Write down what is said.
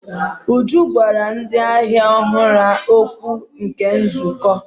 Uju gwara ndị ahịa ọhụrụ okwu na nzukọ.